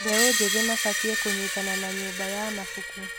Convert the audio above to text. Mbeũ njĩthĩ mabatiĩ kũnyitana na nyũmba ya mabuku.